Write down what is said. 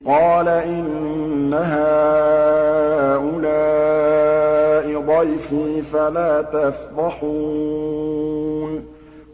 قَالَ إِنَّ هَٰؤُلَاءِ ضَيْفِي فَلَا تَفْضَحُونِ